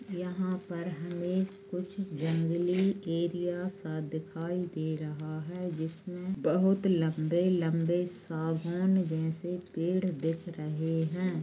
यहाँ पर हमे कुछ जंगली एरिया सा दिखाई दे रहा है जिस में बहुत लम्बे लम्बे साबुन जैसे पेड़ दिख रहे है।